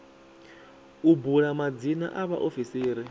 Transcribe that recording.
u bula madzina a vhaofisiri